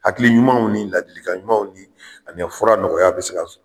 Hakili ɲumanw ni ladilikan ɲumanw ni ani fura nɔgɔya bɛ se ka